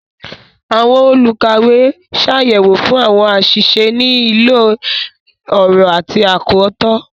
Awọn olukawe ṣayẹwo fun awọn aṣiṣe ni ilo-ọrọ ati akọtọ.